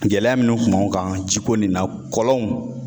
Gɛlɛya minnu kun b'anw kan ji ko nin na kɔlɔnw